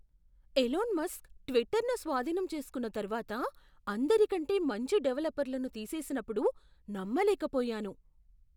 Alone Musk ట్విట్టర్ను స్వాధీనం చేసుకున్న తర్వాత అందరికంటే మంచి డెవలపర్లను తీసేసినప్పుడు నమ్మలేక పోయాను.